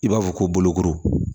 I b'a fɔ ko bolokoro